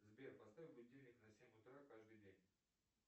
сбер поставь будильник на семь утра каждый день